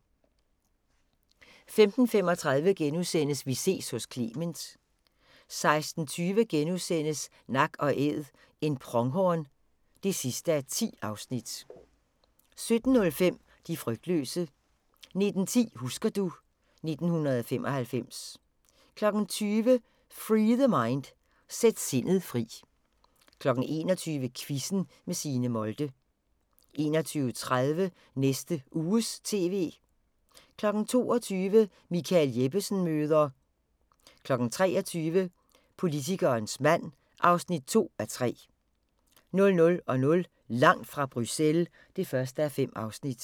15:35: Vi ses hos Clement * 16:20: Nak & Æd – en pronghorn (10:10)* 17:05: De frygtløse 19:10: Husker du ... 1995 20:00: Free The Mind – Sæt sindet fri 21:00: Quizzen med Signe Molde 21:30: Næste Uges TV 22:00: Michael Jeppesen møder ... 23:00: Politikerens mand (2:3) 00:00: Langt fra Bruxelles (1:5)